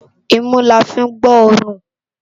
Imú lá fi n gbóòrún